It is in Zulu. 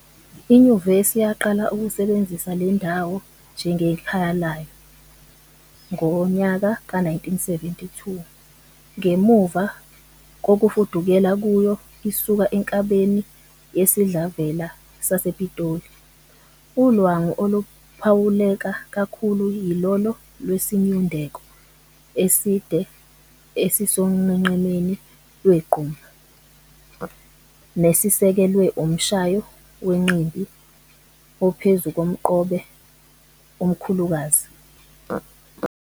INyuvesi yaqala ukusebenzisa lendawo njengekhaya layo ngowe-1972, ngemuva kokufudukela kuyo isuka enkabeni yesidlavela sasePitoli. Ulwangu oluphawuleka kakhulu yilolo lwesinyundeko eside esisonqenqemeni lwegquma, nesisekelwe umshayo wenqimbi ophezu komqobe omkhulukazi.